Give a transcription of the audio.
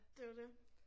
Det jo det